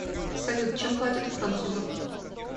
салют чем платят у французов